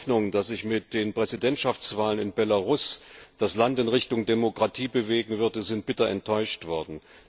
Unsere Hoffnungen, dass sich mit den Präsidentschaftswahlen in Belarus das Land in Richtung Demokratie bewegen würde, sind bitter enttäuscht worden.